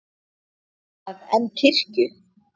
að en kirkju.